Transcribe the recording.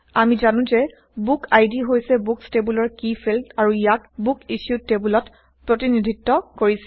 আমি জানো যে বুক আইডি হৈছে বুকচ টেইবলৰ কী ফিল্ড আৰু ইয়াক বুক ইছ্যুড টেবোলত প্ৰতিনিধিত্ব কৰিছে